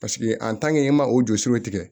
Paseke i ma o jɔsiw tigɛ